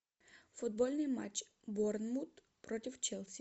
футбольный матч борнмут против челси